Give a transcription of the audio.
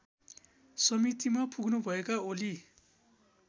समितिमा पुग्नुभएका ओली